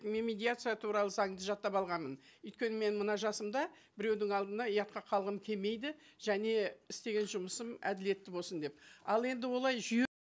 мен медиация туралы заңды жаттап алғанмын өйткені мен мына жасымда біреудің алдында ұятқа қалғым келмейді және істеген жұмысым әділетті болсын деп ал енді олай жүйе